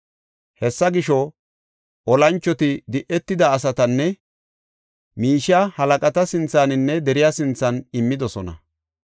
Hessa gisho, olanchoti di7etida asatanne miishiya halaqata sinthaninne de7iya sinthan immidosona.